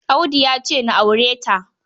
Audu ya ce na aure ta.